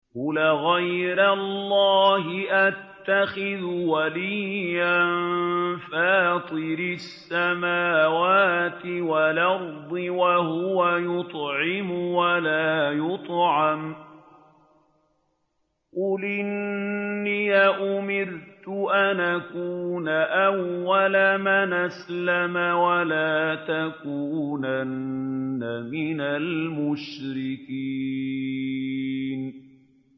قُلْ أَغَيْرَ اللَّهِ أَتَّخِذُ وَلِيًّا فَاطِرِ السَّمَاوَاتِ وَالْأَرْضِ وَهُوَ يُطْعِمُ وَلَا يُطْعَمُ ۗ قُلْ إِنِّي أُمِرْتُ أَنْ أَكُونَ أَوَّلَ مَنْ أَسْلَمَ ۖ وَلَا تَكُونَنَّ مِنَ الْمُشْرِكِينَ